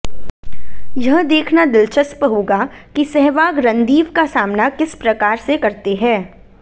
यह देखना दिलचस्प होगा कि सहवाग रणदीव का सामना किस प्रकार से करते हैं